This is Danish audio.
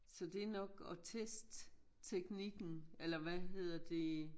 Så det nok at teste teknikken eller hvad hedder det